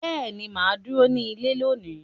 Beeni, maa duro ni ile loni.